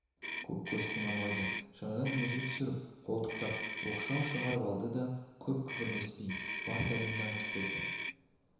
көккөз құнанбайды шанадан өзі түсіріп қолтықтап оқшау шығарып алды да көп күбірлесіп бар сәлемді айтып берді